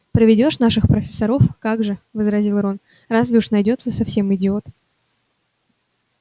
проведёшь наших профессоров как же возразил рон разве уж найдётся совсем идиот